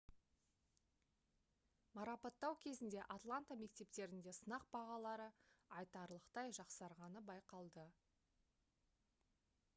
марапаттау кезінде атланта мектептерінде сынақ бағалары айтарлықтай жақсарғаны байқалды